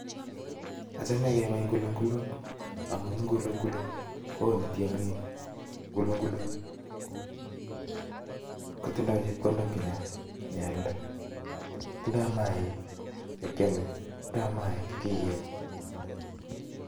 Achome kebab ngulungulisiek, amun ngulungulut koone tiongiik, ngulunguluk kotindo chepkondok chechang ingealda, tindo mainik chekiome ak chekikenye